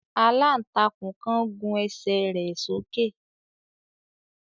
Àlàntakún kan gùn ẹ́sẹ rẹ sóke